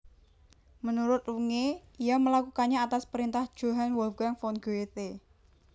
Menurut Runge ia melakukannya atas perintah Johann Wolfgang von Goethe